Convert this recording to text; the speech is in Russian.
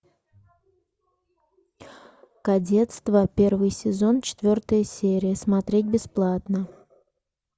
кадетство первый сезон четвертая серия смотреть бесплатно